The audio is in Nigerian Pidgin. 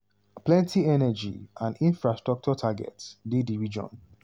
plenty energy and infrastructure targets dey di region.